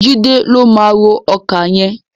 Jídé ló máa ró ọkà yẹn.